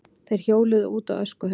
Þeir hjóluðu út á öskuhauga.